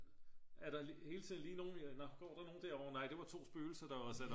er der hele tiden lige nogen nå går der nogen derovre nej det var 2 spøgelser der var sat op